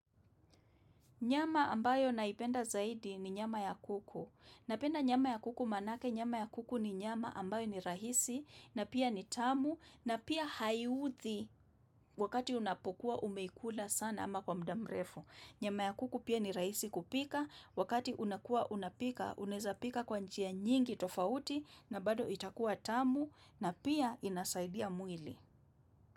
Nyama ambayo naipenda zaidi ni nyama ya kuku. Napenda nyama ya kuku manake, nyama ya kuku ni nyama ambayo ni rahisi, na pia ni tamu, na pia haiudhi wakati unapokuwa umeikula sana ama kwa mda mrefu. Nyama ya kuku pia ni rahisi kupika, wakati unakua unapika, unaeza pika kwa njia nyingi tofauti, na bado itakuwa tamu, na pia inasaidia mwili.